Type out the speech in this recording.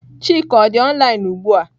Chika ọ dị online ugbu a?